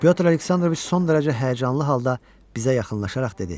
Pətr Aleksandroviç son dərəcə həyəcanlı halda bizə yaxınlaşaraq dedi: